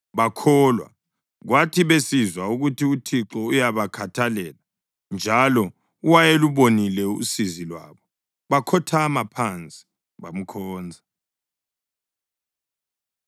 bakholwa. Kwathi besizwa ukuthi uThixo uyabakhathalela, njalo wayelubonile usizi lwabo, bakhothama phansi bamkhonza.